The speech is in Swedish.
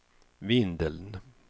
Vindeln